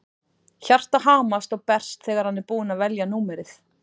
Hjartað hamast og berst þegar hann er búinn að velja númerið.